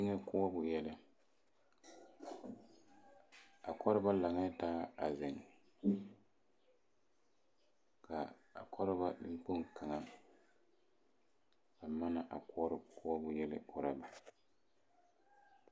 Eŋ koɔbo yɛlɛ a koɔreba lantaa a zeŋ kaa a koɔreba neŋkpoŋ kaŋa a manna koɔrɔ yɛlɛ koɔrɔ ba